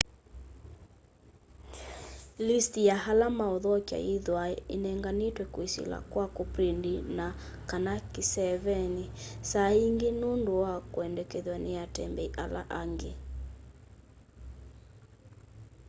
list ya ala mauthokya yithwaa inenganitwe kwisila kwa kuprint na/kana kiseeveni saa ingi nundu wa kwendekethw'a ni atembei ala angi